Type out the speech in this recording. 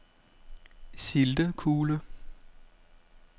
Sildekule